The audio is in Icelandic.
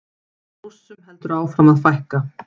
Rússum heldur áfram að fækka